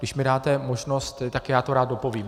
Když mi dáte možnost, tak já to rád dopovím.